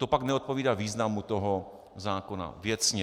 To pak neodpovídá významu toho zákona, věcně.